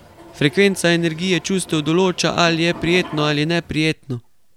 Frekvenca energije čustev določa ali je prijetno ali neprijetno.